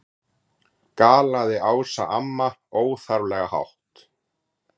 galaði Ása amma, óþarflega hátt.